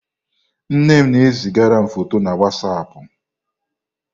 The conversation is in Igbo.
Nne m na e zigara m fọtọ na wazapụ.